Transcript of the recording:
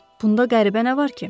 Bunda qəribə nə var ki?